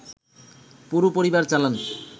পুরো পরিবার চালান